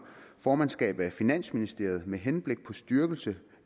formandsskab af finansministeriet med henblik på styrkelse